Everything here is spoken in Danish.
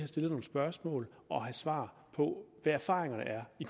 stillet nogle spørgsmål og have svar på hvad erfaringerne er i